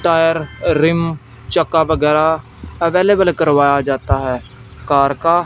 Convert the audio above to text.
Tyre rim चक्का वगैरह available करवाया जाता है कार का।